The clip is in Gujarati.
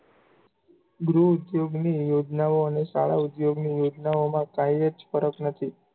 ગૃહઉધોગની યોજનાઓ અને શાળાઉધોગની યોજનાઓમાં કાંઇજ ફરક નથી.